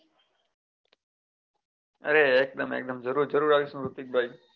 અરે એક દમ જરૂર જરૂર આવીએસું ઋત્વિક ભાઈ